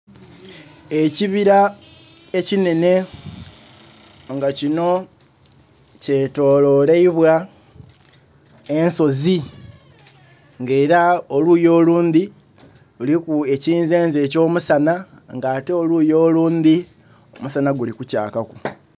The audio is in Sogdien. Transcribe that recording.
Ekibira ekinhenhe nga kino kyetololeibwa ensozi, nga era oluyi olundhi luliku ekinzenze eky'omusanha nga ate oluyi olundhi omusanha guli kukyakaku.